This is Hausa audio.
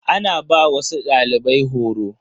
Ana ba wasu dalibai horo.